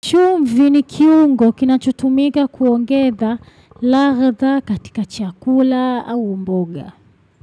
Chumvi ni kiungo kinachutumika kuongeza ladha katika chakula au mboga.